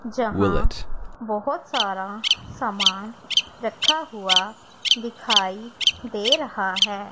जहां बहुत सारा समान रखा हुआ दिखाई दे रहा है।